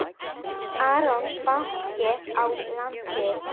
Arion banki á landið.